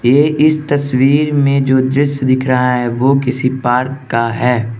ये इस तस्वीर में जो दृश्य दिख रहा है वो किसी पार्क का है।